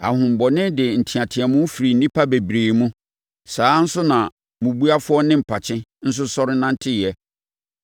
Ahonhommɔne de nteateam firii nnipa bebree mu. Saa ara nso na mmubuafoɔ ne mpakye nso sɔre nanteeɛ.